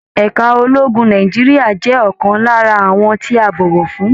Ẹ̀ka ológun Nàìjíríà jẹ ọkan lára àwọn tí a bọwọ fún